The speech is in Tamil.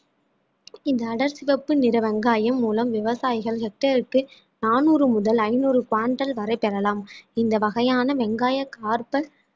இந்த அடர்சிவப்பு நிற வெங்காயம் மூலம் விவசாயிகள் hectare க்கு நானூறு முதல் ஐநூறு வரை பெறலாம் இந்த வகையான வெங்காய carbon